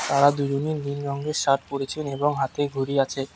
তারা দুজনই নীল রঙের শার্ট পড়েছেন এবং হাতে ঘড়ি আছে।